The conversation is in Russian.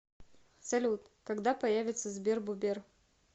салют когда появится сбербобер